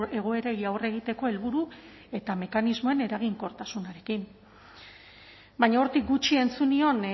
egoerei aurre egiteko helburu eta mekanismoen eraginkortasunarekin baina hortik gutxi entzun nion